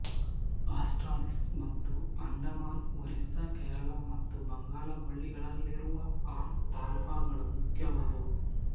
ಆಸ್ಟ್ರಾಲಿಸ್ ಮತ್ತು ಅಂಡಮಾನ್ ಒರಿಸ್ಸ ಕೇರಳ ಮತ್ತು ಬಂಗಾಲ ಕೊಲ್ಲಿಗಳಲ್ಲಿರುವ ಅ ಟಾಲ್ಪಾಗಳು ಮುಖ್ಯವಾದುವು